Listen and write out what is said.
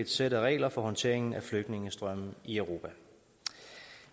sæt af regler for håndteringen af flygtningestrømme i europa